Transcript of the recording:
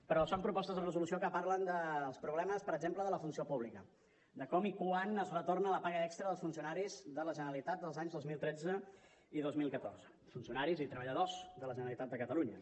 però són propostes de resolució que parlen dels problemes per exemple de la funció pública de com i quan es retorna la paga extra dels funcionaris de la generalitat dels anys dos mil tretze i dos mil catorze funcionaris i treballadors de la generalitat de catalunya